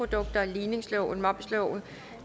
høre hvad vi